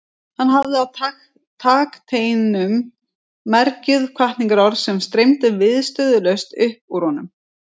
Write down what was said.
Hann hafði á takteinum mergjuð hvatningarorð sem streymdu viðstöðulaust upp úr honum.